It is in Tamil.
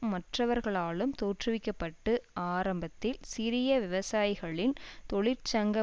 மற்றவர்களாலும் தோற்றுவிக்க பட்டு ஆரம்பத்தில் சிறிய விவசாயிகளின் தொழிற்சங்க